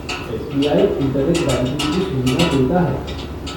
SBI. Internet banking की सुविधा देता है।